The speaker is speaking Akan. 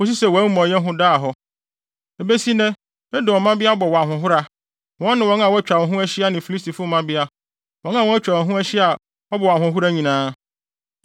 kosi sɛ wʼamumɔyɛ ho daa hɔ. Ebesi nnɛ Edom mmabea bɔ wo ahohora, wɔne wɔn a wɔatwa wɔn ho ahyia ne Filistifo mmabea; wɔn a wɔatwa wo ho ahyia a wɔbɔ wo ahohora nyinaa.